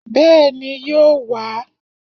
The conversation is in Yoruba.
Bẹ́ẹ̀ni, yóò wá